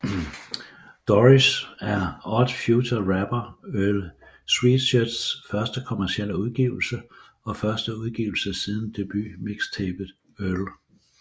Doris er Odd Future rapper Earl Sweatshirts første kommercielle udgivelse og første udgivelse siden debut mixtapet Earl